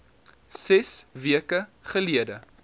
ses weke gelede